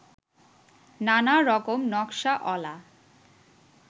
নানারকম নকশা অলা